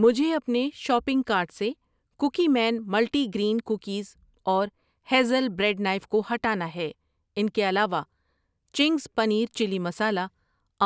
مجھے اپنے shopping cart سے cookie man multi grain cookies اور ہیزل بریڈ نائف کو ہٹانا ہے۔ ان کے علاوہ، چنگز پنیر چلی مسالہ ،